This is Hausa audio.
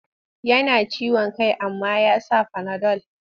Yana ciwon kai amma ya sa fanadol.